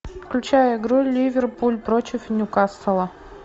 включай игру ливерпуль против ньюкасла